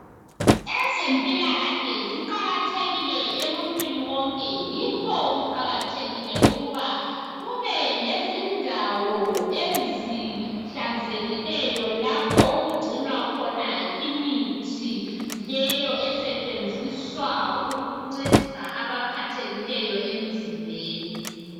Ezempilakahle ziqakathekile emuntwini wonke yikho kuqakathekile ukuba kube lezindawo esihlanzekileyo lapho okugcinwa khona imithi leyo esetshenziswa ukuncedisa labo abaphathekileyo emzimbeni.